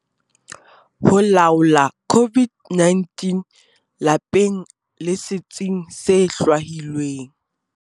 Ho laola COVID-19- Lapeng le setsing se hlwahilweng